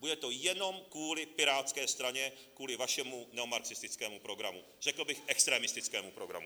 Bude to jenom kvůli Pirátské straně, kvůli vašemu neomarxistickému programu, řekl bych extrémistickému programu.